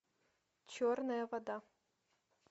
черная вода